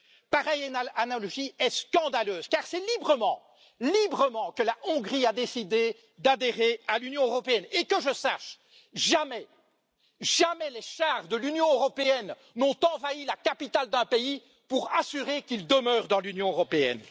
Pareille analogie est scandaleuse, car c'est librement que la Hongrie a décidé d'adhérer à l'Union européenne et, que je sache, jamais les chars de l'Union européenne n'ont envahi la capitale d'un pays pour faire en sorte qu'il demeure dans l'Union européenne.